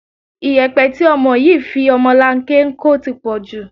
Ìyẹ̀pẹ̀ tí ọmọ yìí fi ọmọlanke ń kó ti pọ̀ jù